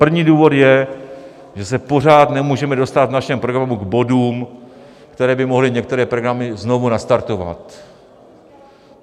První důvod je, že se pořád nemůžeme dostat v našem programu k bodům, které by mohly některé programy znovu nastartovat.